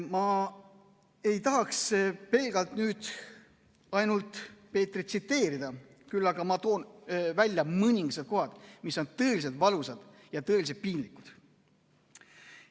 Ma ei tahaks pelgalt nüüd ainult Peetrit tsiteerida, küll aga toon välja mõningad kohad, mis on tõeliselt valusad ja tõeliselt piinlikud.